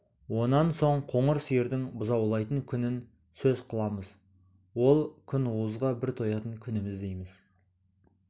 онан соң қоңыр сиырдың бұзаулайтын күнін сөз қыламыз ол күнуызға бір тоятын күніміз дейміз